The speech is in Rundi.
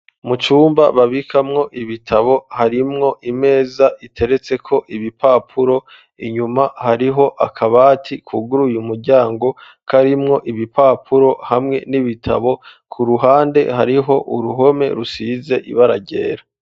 Mu cumba babikamwo ibitabo harimwo imeza iteretseko ibipapuro inyuma hariho akabati kuguruye umuryango karimwo ibipapuro hamwe n'ibitabo ku ruhande hariho uruhome rusize ibara ryera.